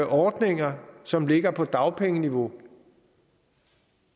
ordninger som ligger på dagpengeniveau